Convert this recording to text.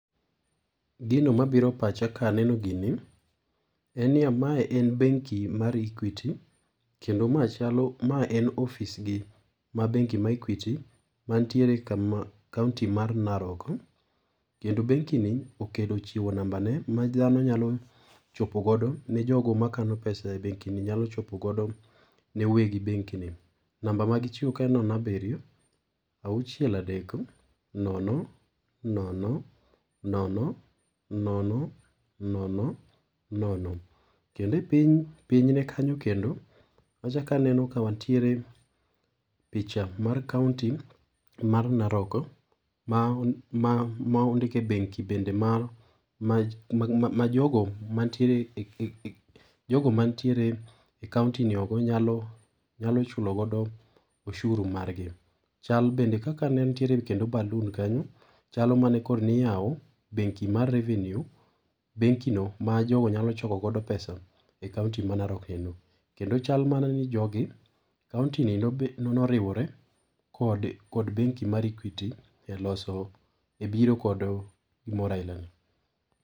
Gino mabiro e pacha kaneno gini en niyaa mae en benki mar Equity kendo ma chalo ma en ofisgi ma bengi mar Equity mantiere kama kaunti mar Narok. Kendo benki ni okelo chiwo namba ne ma dhano nyalo chopo godo ne jogo makano pesa e benki ni nyalo chopo godo ne weg benki ni. Namba magichiwo kae en nono abiriyo auchiel adek nono nono nono nono nono nono. Kendo e piny ,pinyne kanyo kendo achak aneno ka wantiere picha mar kaunti mar Narok ma ma ma, ondik e benki bende ma ma majogo mantiere jogo mantiere e kaunti ni nyalo nyalo chulo godo ushuru margi. Chal bende kaka nentiere kendo baloon kanyo chalo mane koro niiyawo benki mar revenue, benki no ma jogo nyalo choko gogo pesa e piny Narok kuno. Kendo chal mana ni jogi kauntini noriwore kod benki mar Equity eloso ebiro kod gimoro ailani